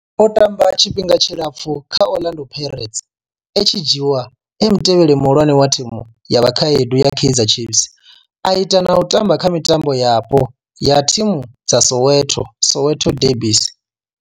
O tamba tshifhinga tshilapfhu kha Orlando Pirates, a tshi dzhiiwa e mutevheli muhulwane wa thimu ya vhakhaedu ya Kaizer Chiefs, a ita na u tamba kha mitambo yapo ya thimu dza Soweto Soweto derbies.